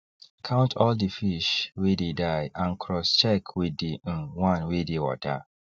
count all the fish wey dey die and cross check with the um one wey dey water